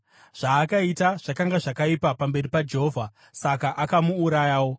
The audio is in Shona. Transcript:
Zvaakaita zvakanga zvakaipa pamberi paJehovha; saka akamuurayawo.